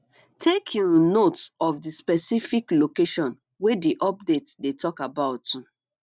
take um note of di specific location wey di update dey talk about um